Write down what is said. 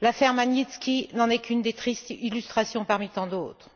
et l'affaire Magnitski n'en est qu'une triste illustration parmi tant d'autres.